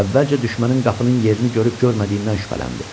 Əvvəlcə düşmənin qapının yerini görüb-görmədiyindən şübhələndi.